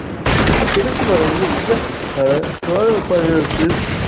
கிழக்குப் பகுதியில்